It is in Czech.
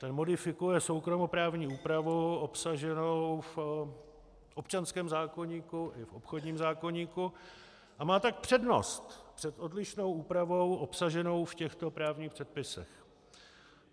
Ten modifikuje soukromoprávní úpravu obsaženou v občanském zákoníku i v obchodním zákoníku a má tak přednost před odlišnou úpravou obsaženou v těchto právních předpisech.